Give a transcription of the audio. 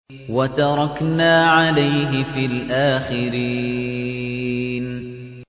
وَتَرَكْنَا عَلَيْهِ فِي الْآخِرِينَ